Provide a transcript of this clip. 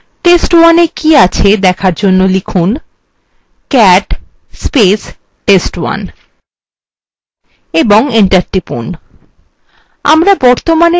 test1 we কি আছে দেখার আমরা লিখুন